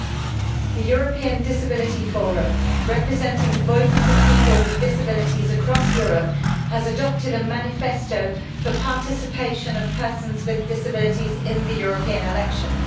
Madam President, the European Disability Forum, representing the voices of people with disabilities across Europe, has adopted a manifesto for the participation of persons with disabilities in the European elections.